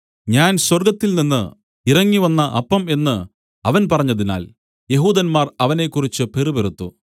ഞാൻ സ്വർഗ്ഗത്തിൽനിന്ന് ഇറങ്ങിവന്ന അപ്പം എന്നു അവൻ പറഞ്ഞതിനാൽ യെഹൂദന്മാർ അവനെക്കുറിച്ച് പിറുപിറുത്തു